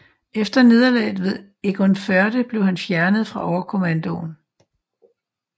Efter nederlaget ved Egernførde blev han fjernet fra overkommandoen